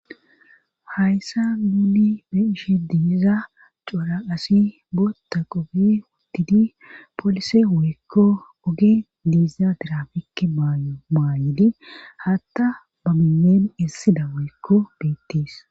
Hayssa duuni be ishe diiza cora asi bootta qobi wuttidi poolise weekko oge diiza dirafike maayeli hatta ba bileen issida weekko beettiis.